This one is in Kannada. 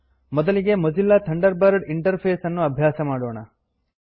ಮೊದಲಿಗೆ ಮೊಜಿಲ್ಲಾ ಥಂಡರ್ ಬರ್ಡ್ ಇಂಟರ್ಫೇಸ್ ಅನ್ನು ಅಭ್ಯಾಸ ಮಾಡೋಣ